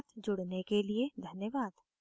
हमारे साथ जुड़ने के लिए धन्यवाद